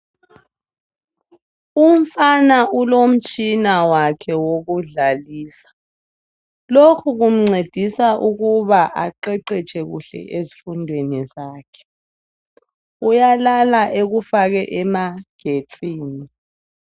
Umfana ulomtshina wakhe wokudlalisa lokhu kumncedisa ukuba aqeqetshe kuhle ezifundweni zakhe. Uyalala ekufake emagetsini.